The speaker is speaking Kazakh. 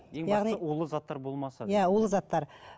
улы заттар болмаса иә улы заттар